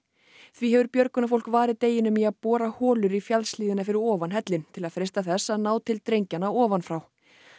því hefur björgunarfólk varið deginum í að bora holur í fjallshlíðina fyrir ofan hellinn til að freista þess að ná til drengjanna ofan frá